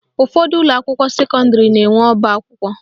Ụfọdụ ụlọakwụkwọ sekọndịrị na-enwe ọbakwụkwọ